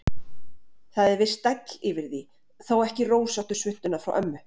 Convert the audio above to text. Það er viss stæll yfir því, þó ekki rósóttu svuntuna frá ömmu.